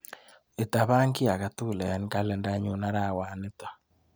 Itapan kiiy akatukul eng kalendainyu arawet nito.